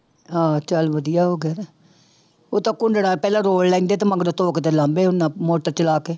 ਹਾਂ ਚੱਲ ਵਧੀਆ ਹੋ ਗਿਆ, ਉਹ ਤਾਂ ਕੁੰਡੜਾ ਪਹਿਲਾਂ ਰੋਲ ਲੈਂਦੇ ਤੇ ਮਗਰੋਂ ਧੋ ਕੇ ਤੇ ਲਾਉਂਦੇ ਉਹਨਾਂ ਮੋਟਰ ਚਲਾ ਕੇ